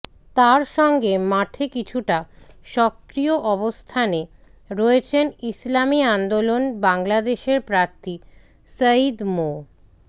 তার সঙ্গে মাঠে কিছুটা সক্রিয় অবস্থানে রয়েছেন ইসলামী আন্দোলন বাংলাদেশের প্রার্থী সৈয়দ মো